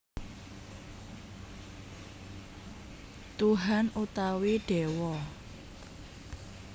Tuhan utawi Déwa